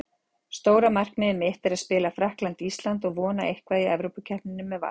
Stóra markmiðið mitt er að spila Frakkland- Ísland og vonandi eitthvað í Evrópukeppninni með Val.